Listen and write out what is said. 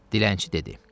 Dilənçi dedi: